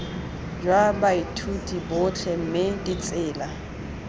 jwa baithuti botlhe mme ditsela